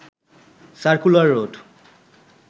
circular road